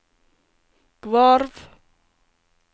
Gvarv